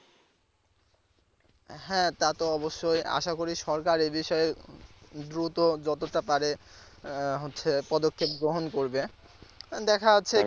হ্যাঁ তা তো অবশ্যই আশা করি সরকার এ বিষয়ে দ্রুত যতটা পারে আহ হচ্ছে পদক্ষেপ গ্রহণ করবে দেখা যাচ্ছে কি